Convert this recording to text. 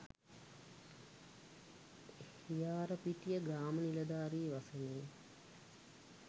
හියාරපිටිය ග්‍රාම නිලධාරී වසමේ